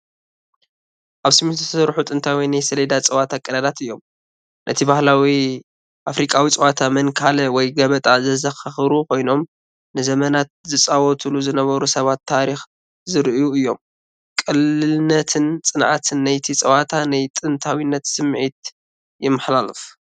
ኣብ ሲሚንቶ ዝተሰርሑ ጥንታውያን ናይ ሰሌዳ ጸወታ ቀዳዳት እዮም። ነቲ ባህላዊ ኣፍሪቃዊ ጸወታ "መንካላ" ወይ "ገበጣ" ዘዘኻኽሩ ኮይኖም፡ ንዘመናት ዝጻወቱሉ ዝነበሩ ሰባት ታሪኽ ዘርእዩ እዮም። ቅልልነትን ጽንዓትን ናይቲ ጸወታ ናይ ጥንታዊነት ስምዒት የመሓላልፍ።